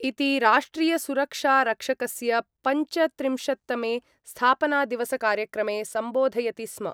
इति राष्ट्रियसुरक्षारक्षकस्य पञ्चत्रिंशत्तमे स्थापनादिवसकार्यक्रमे सम्बोधयति स्म।